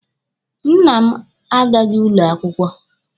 Nna m agaghị ụlọ akwụkwọ.